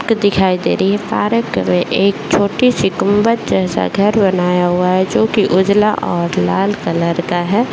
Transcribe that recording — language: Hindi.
दिखाई दे रही है पारक में एक छोटी-सी गुम्बद जैसा घर बनाया हुआ है जो की उजला और लाल कलर का है।